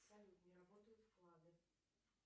салют не работают вклады